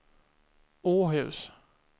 Åhus